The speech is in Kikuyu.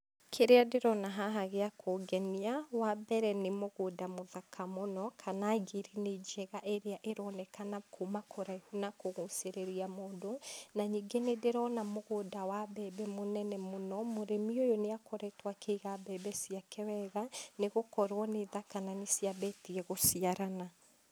Kĩrĩa ndĩrona haha gĩa kũngenia, wa mbere, nĩ mũgũnda mũthaka mũno kana ngirini njega ĩrĩa ĩronekana kuma kũraihu na kũgucĩrĩria mũndũ na ningĩ nĩndĩrona mũgũnda wa mbembe mũnene mũno. Mũrĩmi ũyũ nĩakoretwo akĩiga mbembe ciake wega nĩgũkorwo nĩ thaka na nĩ ciambĩtie gũciarana.